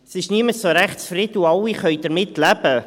Es ist niemand so richtig zufrieden, und alle können damit leben.